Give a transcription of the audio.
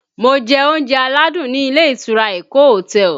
Mo jẹ oúnjẹ aládùn ni ilé ìtura Eko hotel